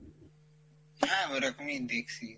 হ্যাঁ ওরকমই দেখসি।